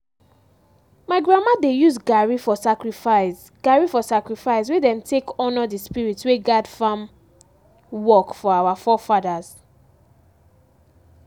my grandma dey use garri for sacrifice garri for sacrifice wey dem take honor the spirit wey guard farm work for our forefathers.